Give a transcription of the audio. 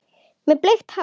Með bleikt hár.